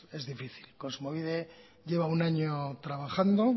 es difícil kontsumobide lleva un año trabajando